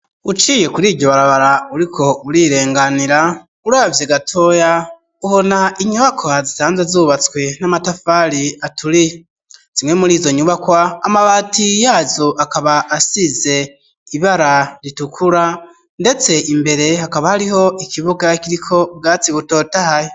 Uciye kuri iryo barabara, uriko urirenganira, uravye gatoya ubona inyubaka zisanzwe zubatswe n'amatafari aturiye, zimwe muri izo nyubakwa amabati yazo akaba asize ibara ritukura ,ndetse imbere hakaba hariho ikibuga kiriko ubwatsi butotahaye.